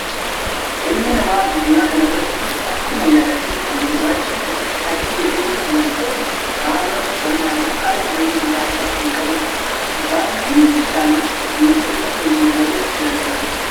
Ilmi namaa addunyaa kana irratti akkuma yaadaa fi bifaan gurraachaa fi adii jedhee wal qoodu, aadaa uffannaa fi haala jireenyaa mataa isaa kan qabudha. Isaan hundi isaanii miidhagina keenya dabaluuf gargaaru.